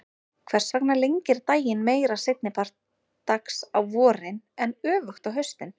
Hvers vegna lengir daginn meira seinni part dags á vorin en öfugt á haustin?